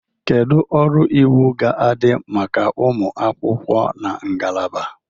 Kedu ọrụ iwu ga-adị maka ụmụ akwụkwọ na ngalaba?